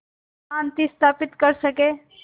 शांति स्थापित कर सकें